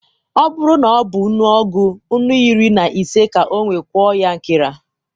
ọ buru na ọ bu nnù ọgu nnù iri-na-ise ka o we kwụọ ya nkera